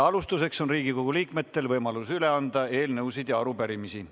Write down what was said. Alustuseks on Riigikogu liikmetel võimalus üle anda eelnõusid ja arupärimisi.